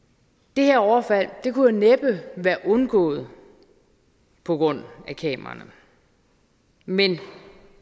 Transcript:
det her overfald kunne næppe være undgået på grund af kameraerne men